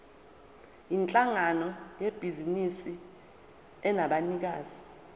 yinhlangano yebhizinisi enabanikazi